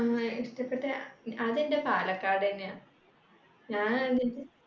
ങ്ഹാ ഇഷ്ടപെട്ട അതെന്റെ പാലക്കാട്ന്നെയാ ഞാൻ